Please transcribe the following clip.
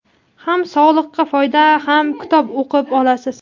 ham sog‘liqqa foyda ham kitob o‘qib olasiz.